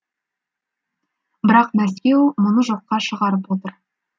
бірақ мәскеу мұны жоққа шығарып отыр